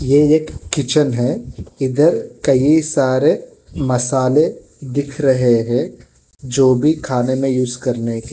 ये एक किचन है इधर कई सारे मसाले दिख रहे हैं जो भी खाने में यूज करने के--